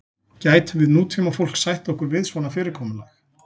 gætum við nútímafólk sætt okkur við svona fyrirkomulag